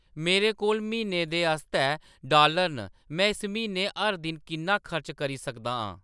मेरे कोल म्हीने दे आस्तै डॉलर न में इस म्हीने हर दिन किन्ना खर्च करी सकदा आं